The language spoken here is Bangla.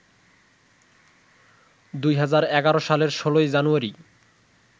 ২০১১ সালের ১৬ জানুয়ারি